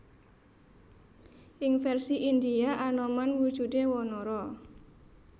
Ing vèrsi Indhia Anoman wujudé wanara